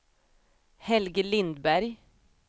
Helge Lindberg